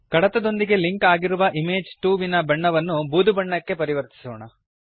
ಕಡತದೊಂದಿಗೆ link ಆಗಿರುವ image 2 ವಿನ ಬಣ್ಣವನ್ನು ಬೂದು ಬಣ್ಣಕ್ಕೆ ಪರಿವರ್ತಿಸೋಣ